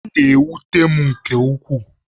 Ọ na-ewute m nke ukwuu